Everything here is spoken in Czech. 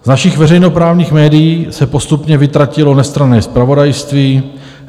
Z našich veřejnoprávních médií se postupně vytratilo nestranné zpravodajství.